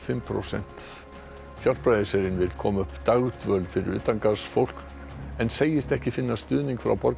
Hjálpræðisherinn vill koma upp dagdvöl fyrir utangarðsfólk en segist ekki finna stuðning frá borgaryfirvöldum